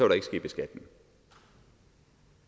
der ikke ske beskatning